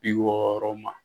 bi wɔɔrɔ ma